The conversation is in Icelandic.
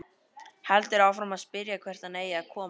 Heldur áfram að spyrja hvert hann eigi að koma.